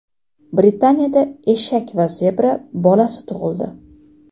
Britaniyada eshak va zebra bolasi tug‘ildi.